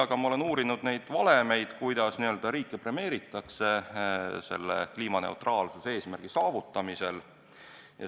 Aga ma olen uurinud neid valemeid, kuidas riike premeeritakse selle kliimaneutraalsuse eesmärgi poole liikumisel.